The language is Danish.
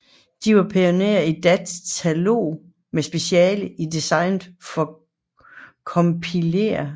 De var pionerer i datalogi med speciale i design af compilere